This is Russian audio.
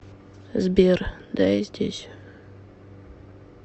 сбер да я здесь